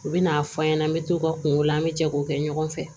U bɛ n'a fɔ an ɲɛna an bɛ t'o ka kungo la an bɛ jɛ k'o kɛ ɲɔgɔn fɛ